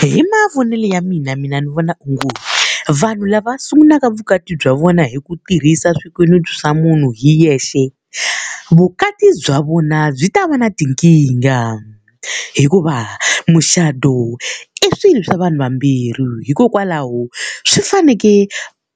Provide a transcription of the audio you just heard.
Hi mavonele ya mina mina ni vona onge vanhu lava sungulaka vukati bya vona hi ku tirhisa swikweleti swa munhu hi yexe, vukati bya vona byi ta va na tinkingha. Hikuva mucato i swilo swa vanhu vambirhi, hikokwalaho swi fanekele